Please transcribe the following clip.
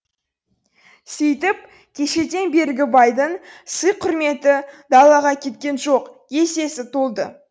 сөйтіп кешеден бергі байдың сый құрметі далаға кеткен жоқ есесі толды